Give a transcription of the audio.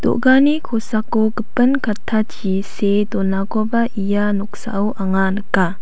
do·gani kosako gipin kattachi see donakoba ia noksao anga nika.